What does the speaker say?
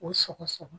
O sɔgɔ sɔgɔ